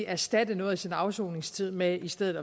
erstatte noget af sin afsoningstid med i stedet